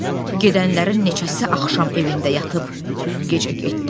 Gedənlərin neçəsi axşam evində yatıb, gecə getdi.